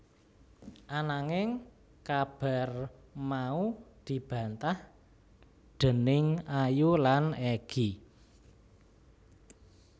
Ananging kabar mau dibantah déning Ayu lan Egy